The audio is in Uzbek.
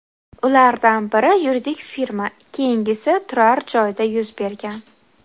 Ulardan biri yuridik firma, keyingisi turar-joyda yuz bergan.